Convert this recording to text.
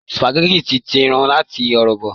Sùpàgẹ́tì ní tírín àti ọ̀rọ̀bọ̀